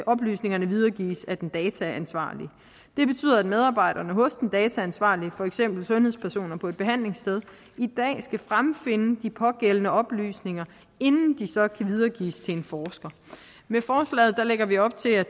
oplysningerne videregives af den dataansvarlige det betyder at medarbejderne hos den dataansvarlige for eksempel sundhedspersoner på et behandlingssted i dag skal fremfinde de pågældende oplysninger inden de så kan videregives til en forsker med forslaget lægger vi op til at